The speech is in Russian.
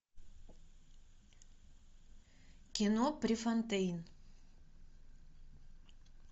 кино префонтейн